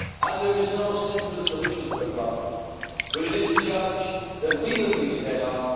of our generation. There is no simple solution to the problem, but it is a challenge that we